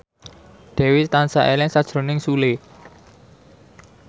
Dewi tansah eling sakjroning Sule